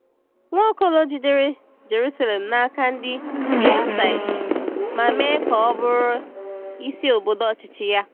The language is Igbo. Nwaokolo jidere Jerusalem n’aka ndị Jebusait ma mee ka ọ bụrụ isi obodo ọchịchị ya.